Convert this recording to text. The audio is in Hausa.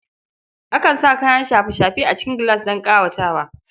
Akan sa kayan shafe-shafe a cikin gilas don ƙawatawa.